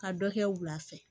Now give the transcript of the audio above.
Ka dɔ kɛ wula fɛ